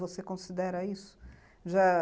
Você considera isso? Já...